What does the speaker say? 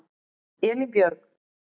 Elínbjörg